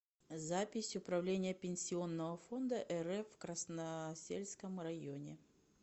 запись управление пенсионного фонда рф в красносельском районе